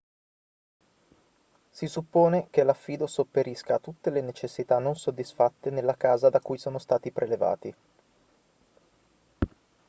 si suppone che l'affido sopperisca a tutte le necessità non soddisfatte nella casa da cui sono stati prelevati